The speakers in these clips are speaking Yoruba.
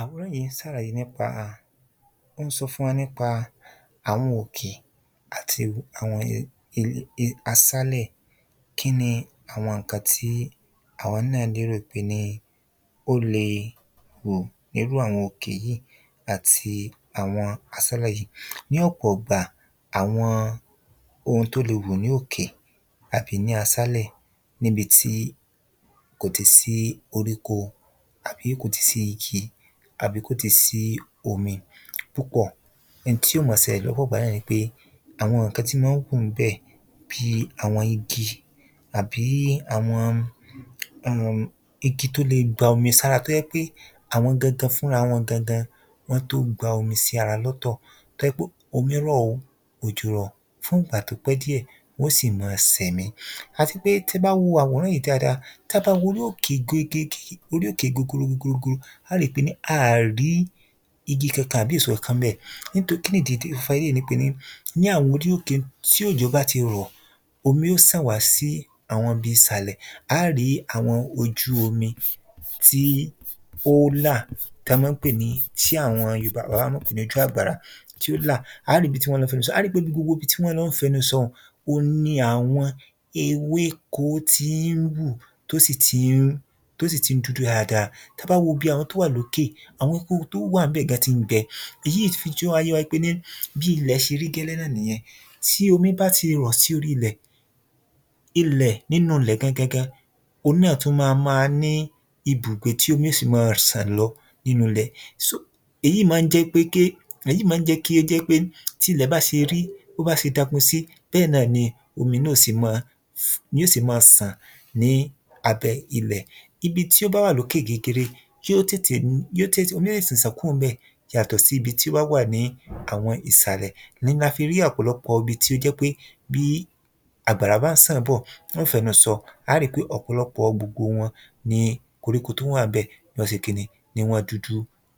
Àwòrán yìí ń sàlàyé nípa, ó ń sọ fún wa nípa àwọn òkè àti àwọn àwọn àwọn asálẹ̀. Kíni àwọn nǹkan tí àwọn náà lérò pé ní ó le hù nínú àwọn òkè yìí àti àwọn asálẹ̀ yìí. Ní ọ̀pọ̀ ìgbà àwọn ohun tó lè hù ní òkè àbí ní asálẹ̀ níbití kò ti sí oríko àbí sí igi àbí kò ti sí omi púpọ̀. Hin tí ó mọ́ sẹlẹ̀ lọ́pọ̀ ìgbà náà ni pé àwọn nǹkan tí mọ́ ń hù ń bẹ̀ bí àwọn igi àbí àwọn um igi tó le gba omi sára tó jẹ́ pé àwọn gangan fúnra wọn gangan wọ́n tó gba omi sí ara wọn lọ́tọ̀. Tó jẹ́ pé omi rọ̀ o, òjò ò rọ̀ fún ìgbà tó pẹ́ díẹ̀ wọ́n sì má sẹ̀mi. Àtipé tí ẹ bá wo àwòrán yìí dáada, tá bá wo orí òkè gegege, orí òkè gogoro gogoro á ri pé ní a rí igi kankan àbí èso kankan ń bẹ̀ nítorí kínì dí tí ó fa eléyìí ni pé ní àwọn orí òkè tí òjò bá ti rọ̀, omi ó sàn wá sí orí àwọn ibi ìsàlẹ̀, á rí àwọn ojú omi tí ó là tán mọ́ ń pè ní tí àwọn Yorùbá bàbá wa mọ́ ń pè ní ojú àgbàrá tí ó là á rí ibi tí wọ́n lọ fẹnu sọ. Á rí pé gbogbo ibi tí wọ́n ń lọ́ fẹnu sọ un ohun ni àwọn ewéko tí ń hù, tó sì tí ń, tó sì tí ń dúdú dáada. Tá bá wo ibi àwọn tó wà lókè, àwọn koríko tó wà ńbẹ̀ gan tí ń gbẹ, èyí fi yé wa wípé ní bí ilẹ̀ ṣe rí gẹ́lẹ́ náà nìyẹn. Tí omi bá ti rọ̀ sí orí ilẹ̀, ilẹ̀ nínú ilẹ̀ gangan gan, òhun náà tún má má ní ibùgbé tí omi ó sì mọ́ sàn lọ nínú ilẹ̀. So èyí mọ́ ń jẹ́ pé ké èyí mọ́ ń jẹ́ kí ó jẹ́ pé ké tí ilẹ̀ bá ṣe rí bó bá se dako sí bẹ́ẹ̀ náà ni omi náà ó se mọ́ ni ó se mọ́ sàn ní abẹ́ ilẹ̀. Ibi tí ó bá wà lókè gegere kí ó tètè yó tètè omi ó tètè sàn kúò ńbẹ̀ yàtọ̀ sí ibi tí ó bá wà ní àwọn ìsàlẹ̀. Ni la fi rí ọ̀pọ̀lọpọ̀ ibi tí ó jẹ́ pé bí àgbàrá bá ń sàn bọ̀ wọ́n fẹ́nu sọ, á rí pé ọ̀pọ̀lọpọ̀ gbogbo wọn ni koríko tó wà ńbẹ̀ ni wọ́n se kíni ni wọ́n dúdú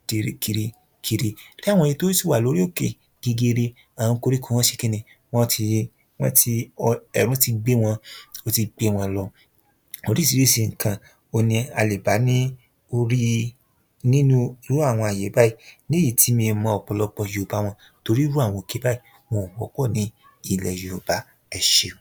kirikiri kiri. Táwọn èyí tó sì wà lórí òkè gegere à̀wọn koríko wọn wọ́n ṣe kíni wọ́n ti wọ́n ti ẹ̀rù ti gbé wọn ó ti gbé wọn lọ. Oríṣríṣi nǹkan òhun ni a lè bá ní orí nínú irú àwọn àyè báyìí léyìí tí mi ò mọ ọ̀pọ̀lọpò yoòbá wọn torí irú àwọn òkè bàyìí wọn ò wọ́pọ̀ ní ilẹ̀ yoòbá. Ẹṣeun.